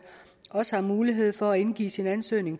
også har mulighed for at indgive sin ansøgning